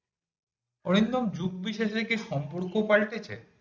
অরিন্দম যুগ বিশেষে কি সম্পর্ক পাল্টেছে